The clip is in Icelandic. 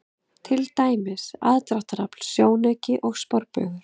Til dæmis: aðdráttarafl, sjónauki og sporbaugur.